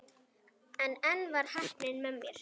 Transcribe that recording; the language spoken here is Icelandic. En enn var heppnin með mér.